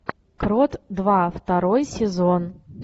крот два второй сезон